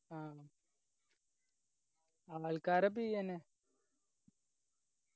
ആ ആൾക്കാരെ പീയെന്നെ